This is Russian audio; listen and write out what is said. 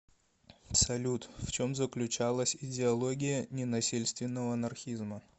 салют в чем заключалась идеология ненасильственного анархизма